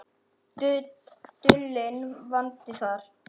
Dulinn vandi þar.